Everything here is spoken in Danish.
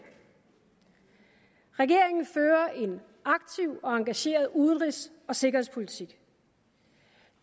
regeringen fører en aktiv og engageret udenrigs og sikkerhedspolitik